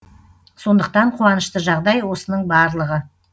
сондықтан қуанышты жағдай осының барлығы